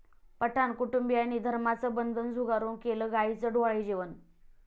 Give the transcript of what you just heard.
पठाण कुटुंबियांनी धर्माची बंधनं झुगारून केलं गाईचं डोहाळे जेवण!